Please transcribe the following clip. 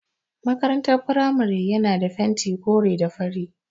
Makarantar firamare yana da fentin kore da fari.